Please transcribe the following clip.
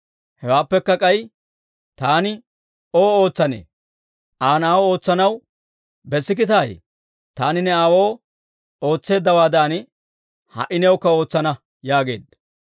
Hewaappekka k'ay taani ow ootsanee? Aa na'aw ootsanaw bessikkitaayye? Taani ne aawoo ootseeddawaadan ha"i newukka ootsana» yaageedda.